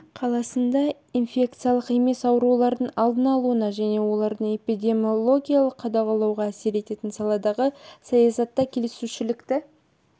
қаласында инфекциялық емес аурулардың алдын алуына және оларды эпидемиологиялық қадағалауға әсер ететін саладағы саясатта келісушілікті